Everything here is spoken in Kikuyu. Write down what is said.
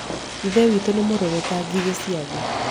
ithe witũ nĩ mũrũrũ ta ngigĩ cia thĩ